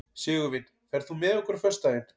Sigurvin, ferð þú með okkur á föstudaginn?